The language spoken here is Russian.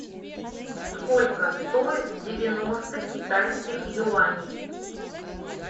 сколько стоят девяносто китайских юаней